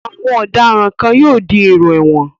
Awọn ọ̀daràn kan yóò di èrò ẹ̀wọ̀n.